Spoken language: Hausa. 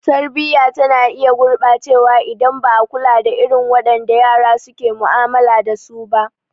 Tarbiyya tana iya gurɓacewa idan ba a kula da irin wadanda yara suke mu'amala dasu ba.